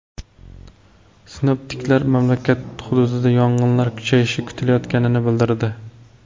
Sinoptiklar mamlakat hududida yog‘inlar kuchayishi kutilayotganini bildirdi.